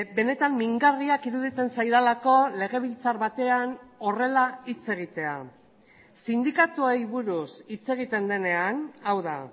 benetan mingarriak iruditzen zaidalako legebiltzar batean horrela hitz egitea sindikatuei buruz hitz egiten denean hau da